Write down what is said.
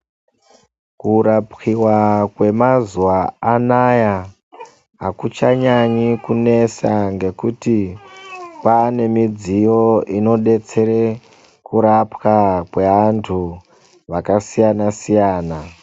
Kurapiwa kwemazuva anaya, hakuchanyanye kunetsa nekuti kwave nemidziyo inodetsera kurapwa kweantu vakasiyana siyana.